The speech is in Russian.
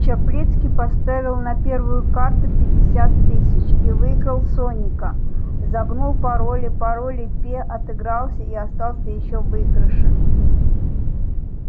чаплицкий поставил на первую карту пятьдесят тысяч и выиграл соника загнул пароли пароли-пе отыгрался и остался ещё в выигрыше